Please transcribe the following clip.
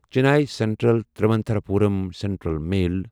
Chennai central Thiruvananthapuram central mail